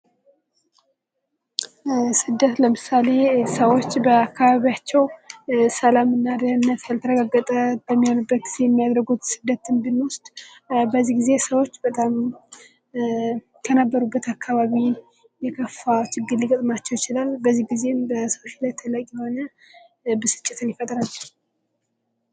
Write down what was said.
ኧ ስደት ለምሳሌ ሰዎች በአካባቢያቸው ሰላምና ደህንነት ካልተረጋገጠ በሚሆንበት ጊዜ የሚያደርጉትን ስደትን ብንወስድ በዚህ ጊዜ ሰዎች በጣም ከነበሩበት አካባቢ የከፋ ችግር ሊገጥማቸው ይችላል። በዚህ ጊዜም በሰዎች ላይ ታላቅ የሆነ ብስጭትን ይፈጥራል።